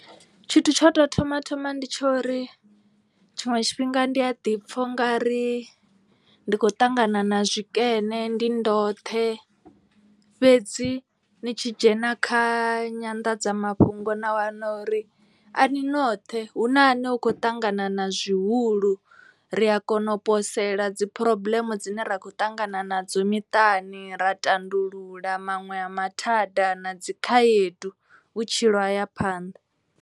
Tshithu tsho tou thoma thoma ndi tsha uri tshiṅwe tshifhinga ndi a ḓi pfha u nga ri ndi kho ṱangana na tshikene ndi ndoṱhe. Fhedzi ni tshi dzhena kha nyanḓadzamafhungo na wana uri a ni noṱhe hu na ane u khou ṱangana na zwihulu. Ri a kona u posela dzi phurobuḽeme dzine ra kho ṱangana nadzo miṱani ra tandulula maṅwe a mathada na dzikhaedu vhutshilo haya phanḓa.